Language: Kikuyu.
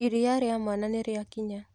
Iria rĩa mwana nĩrĩakinya.